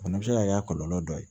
O fana bɛ se ka kɛ a kɔlɔlɔ dɔ ye